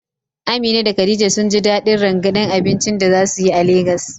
Amina da Khadija sun ji dadin rangadin abincin da za su yi a Legas.